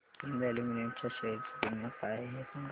Hind aluminium च्या share ची किंमत काय आहे हे सांगा